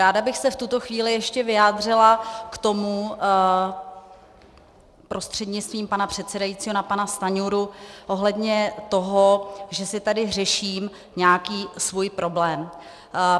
Ráda bych se v tuto chvíli ještě vyjádřila k tomu, prostřednictvím pana předsedajícího na pana Stanjuru, ohledně toho, že si tady řeším nějaký svůj problém.